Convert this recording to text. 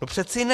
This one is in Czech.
To přeci ne.